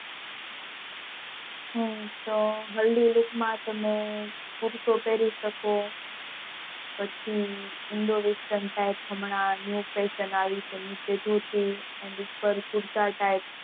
હ તો હલ્દી રસમ માં તમે shut પણ પેરી શકો પછી Indowesten type હમણાં New Fashion આવી છે ઉપર કુર્તા type